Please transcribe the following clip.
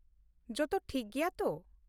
ᱡᱚᱛᱚ ᱴᱷᱤᱠ ᱜᱮᱭᱟ ᱛᱚ ?